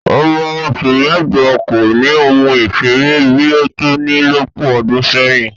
Ọmọ oṣù mẹ́jọ kò ni ohun ìṣeré bí i tòní lọ́pọ̀ ọdún sẹ́yìn